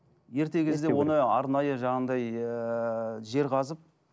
ерте кезде оны арнайы жаңағындай ыыы жер қазып